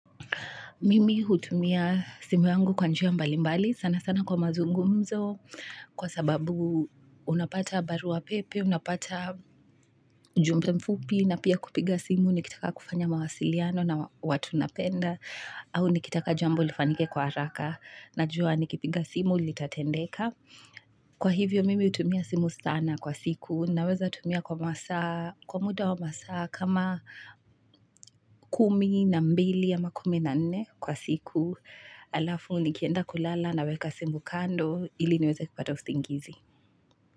Mimi hutumia simu yangu kwa njia mbali mbali sana sana kwa mazungumzo kwa sababu unapata barua pepe, unapata jumbe mfupi na pia kupiga simu nikitaka kufanya mawasiliano na watu napenda au nikitaka jambo lifanyike kwa haraka najua nikipiga simu litatendeka. Kwa hivyo mimi hutumia simu sana kwa siku naweza tumia kwa masaa kwa muda wa masaa kama kumi na mbili ama kumi na nne kwa siku alafu nikienda kulala naweka simu kando ili niweze kupata usingizi.